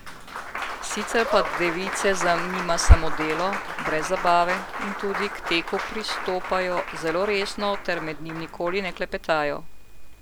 Sicer pa device zanima samo delo, brez zabave, in tudi k teku pristopajo zelo resno ter med njim nikoli ne klepetajo.